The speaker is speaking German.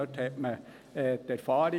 Dort hat man Erfahrung.